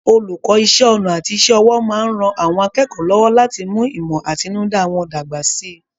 Olùkọ́ Iṣẹ́ ọnà àti iṣẹ́ ọwọ́ máa ń ran àwọn akẹ́kọ̀ọ́ lọ́wọ́ láti mú ìmọ̀ àtinúdá wọn dàgbà síi